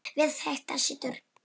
Við þetta situr.